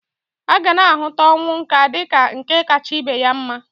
Agana ahụta ọnwụ nka dịka nke kacha ibe ya mma.